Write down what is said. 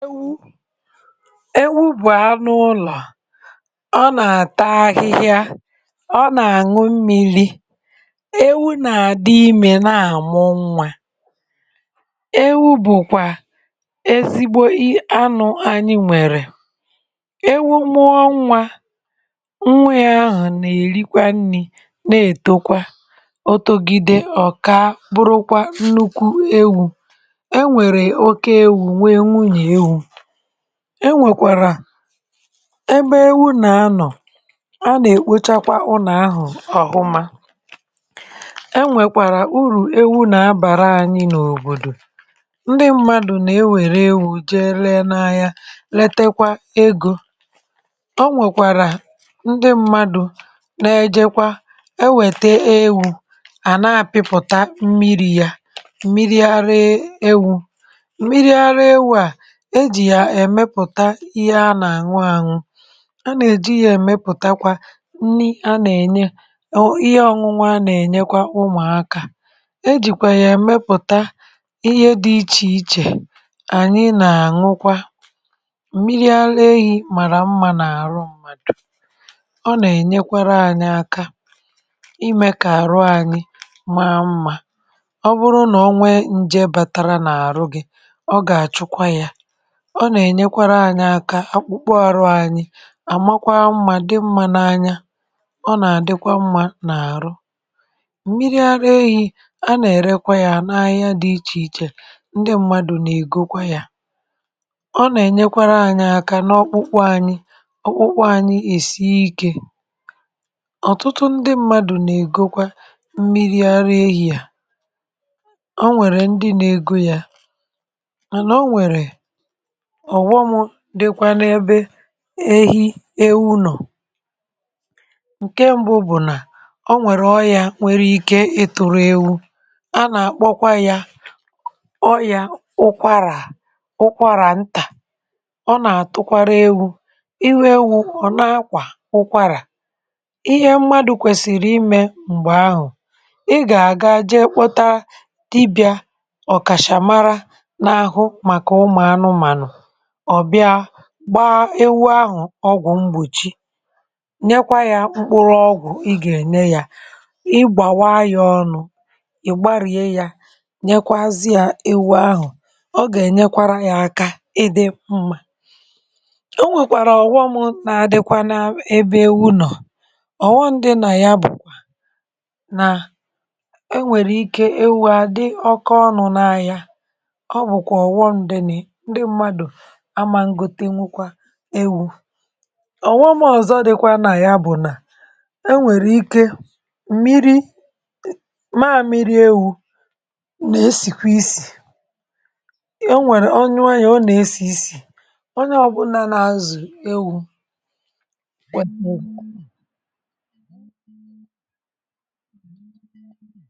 Ewu̇, ewu̇ bụ̀ anụ ụlọ̀, ọ nà-àta ahịhịa ọ nà-àṅụ mmili̇, ewu̇ nà-àdị imė na-àmụ nwa. Ewu̇ bụ̀kwà ezigbo i anụ̇ anyị nwèrè, ewu̇ mwụọ nwa nwa yȧ ahụ̀ nà-èrikwa nri̇ na-ètokwa, otugide ọ̀ka bụrụkwa nnukwu ewu̇. E nwèrè oke ewu̇ nwe nwunye ewu, ẹ nwèkwàrà ebe ewu nà-anọ̀ a nà-èkpochakwa ụnà ahụ̀ ọ̀hụma. E nwèkwàrà urù ewu nà-abàra ànyị n’òbòdò, ndị mmadụ̀ nà-ewère ewu̇ jee ree n’ahia letekwa egȯ, ọ nwèkwàrà ndị mmadụ̀ na-ẹjẹkwa e wète ewu̇ à na-àpịpụ̀ta mmiri̇ ya mmiri ara ewu̇, mmiri ara ewu a ejì ya emeputa ihe a nà-àñụ àñụ a nà-èji yȧ èmepùtakwa nni a nà-ènye o ihe ọñụñụ a nà-ènyekwa ụmụ̀ akȧ e jìkwè yà èmepùta ihe dị̇ ichè ichè ànyị nà-àñụkwa mmiri ara ehi̇ màrà mmȧ nà-àrụ mmàdò. Ọ nà-ènyekwere ȧnyị̇ aka imė kà àrụ ȧnyị̇ maa mmȧ ọ bụrụ nà ọ nwee nje bàtara nà àrụ gi̇ ọ gà-àchụkwa yȧ, ọ nà ènyekwara anyị aka akpụkpọ ọrụ anyị àmakwa mmà dị mmȧ n’anya ọ nà àdịkwa mmȧ n’àrụ. Mmịrị arụ ehi̇ a nà èrekwa yȧ n’ahịa dị ichè ichè ndị mmadụ̀ nà ègokwa yȧ ọ nà ènyekwara anyị aka n’ọkpụkpọ anyị ọkpụkpọ anyị èsie ikė. Ọ̀tụtụ ndị mmadụ̀ nà ègokwa mmịrị ara ehi̇ à, o nwèrè ndị nà egȯ yȧ manà o nwèrè ọ̀ghọmụ̇ dịkwanịbe ehi ewu nọ̀ ǹke mbụ bụ̀ nà o nwèrè ọyȧ nwere ike ịtụ̇rụ̇ ewu a nà-àkpọkwa ya ọyȧ ụkwarà ụkwarà ntà ọ nà-àtụkwara ewu̇ ihe ewu ọ̀ na-akwà ụkwarà ihe mmadụ̇ kwèsìrì imė m̀gbè ahụ̀, ị gà-àga jee kpọta dibị̀à ọ̀kàchàmara na-ahụ màkà ụmụ̀ anụmànụ̀, ọ̀ bịa gbaa ewu ahụ̀ ọgwụ̀ mgbòchi nyekwa yȧ mkpụrụ ọgwụ̀ ị gà-ènye yȧ igbàwa ya ọnụ ị̀ gbarie yȧ nyekwa azị yȧ ewu ahụ̀ ọ gà-ènyekwara yȧ aka ị dị mmȧ. O nwèkwàrà ọ̀ghọm nà-adịkwa n’ebe ewu nọ̀ ọ̀ghọm dị nà ya bùkwà, nà e nwèrè ike ewu̇ àdị ọka ọnụ̇ na-aya ọ bụ̀kwà ọ̀ghọm dị nị̇ ndị mmadù amagotewukwa ewu̇, òghom ọzọ dịkwa nà ya bụ̀ nà enwèrè ike mmiri maa mmiri ewu̇ nà esìkwa isì enwèrè ọyuu ya ọ nà esì isì onye ọ̀bụlà nà-azụ̀ ewu̇ kweta